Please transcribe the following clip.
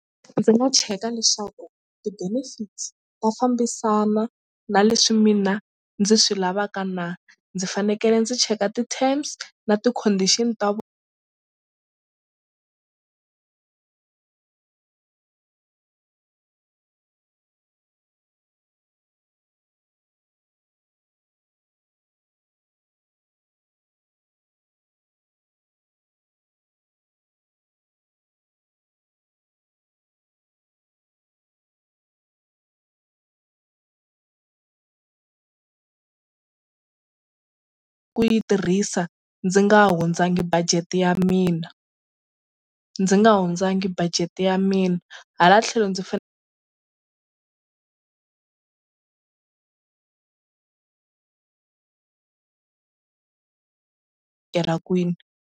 Ndzi nga cheka leswaku ti-benefits ta fambisana na leswi mina ndzi swi lavaka na ndzi fanekele ndzi cheka ti-terms na ti-condition ta ku yi tirhisa ndzi nga hundzangi budget ya mina ndzi nga hundzangi budget ya mina hala tlhelo ndzi kwini.